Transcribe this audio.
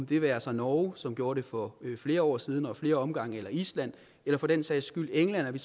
det være sig norge som gjorde det for flere år siden og i flere omgange island eller for den sags skyld england at vi